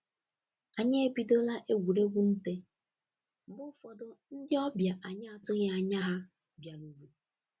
Anyi ebidola egwuruegwu nte mgbe ụfọdụ ndị ọbịa anyị atụghị anya ha bịaruru